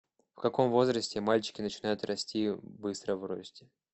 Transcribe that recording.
в каком возрасте мальчики начинают расти быстро в росте